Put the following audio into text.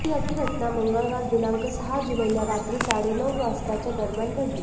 ही घटना मंगळवार दिनांक सहा जुलैला रात्री साडे नऊ वाजताच्या दरम्यान घडली